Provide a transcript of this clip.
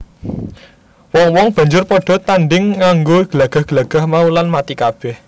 Wong wong banjur padha tandhing nganggo glagah glagah mau lan mati kabeh